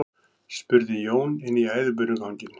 spurði Jón inn í æðibunuganginn.